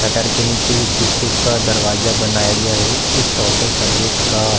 shutter के नीचे ही शीशे का दरवाजा बनाया गया है इस ऑटो सर्विस का --